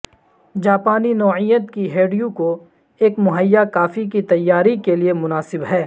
جاپانی نوعیت کی ہڈیوں کو ایک مہیا کافی کی تیاری کے لئے مناسب ہے